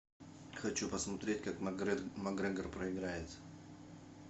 хочу посмотреть как макгрегор проиграет